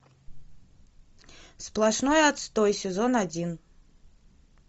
сплошной отстой сезон один